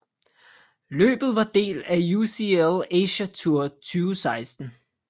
Løbet var del af UCI Asia Tour 2016